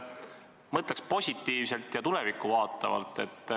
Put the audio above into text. Mõtleks siiski positiivselt ja tulevikku vaatavalt.